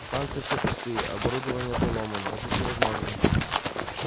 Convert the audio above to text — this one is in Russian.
станции все пустые оборудование поломано жить невозможно